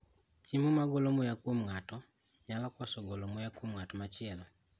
Chiemo ma golo muya kuom ng'ato nyalo koso golo muya kuom ng'at machielo.